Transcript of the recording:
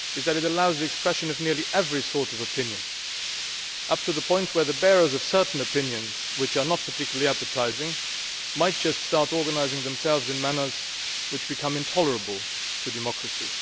It allows the expression of nearly every sort of opinion, up to the point where the bearers of certain opinions which are not particularly appetising might just start organising themselves in a manner which becomes intolerable to democracy.